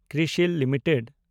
Crisil limited